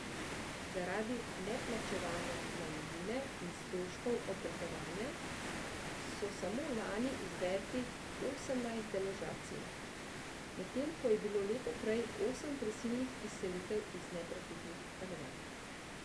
Zaradi neplačevanja najemnine in stroškov obratovanja so samo lani izvedli osemnajst deložacij, medtem ko je bilo leto prej osem prisilnih izselitev iz neprofitnih stanovanj.